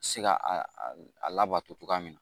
Se ka a labato cogoya min na